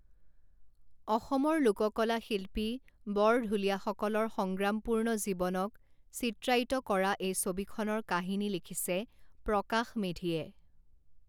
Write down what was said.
অসমৰ লোককলা শিল্পী বৰঢুলীয়াসকলৰ সংগ্ৰামপূৰ্ণ জীৱনক চিত্ৰায়িত কৰা এই ছবিখনৰ কাহিনী লিখিছে প্ৰকাশ মেধিয়ে।